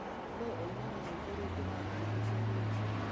Nũũ ũinaga rwĩmbo rũu ndĩrarigĩrĩria rĩu?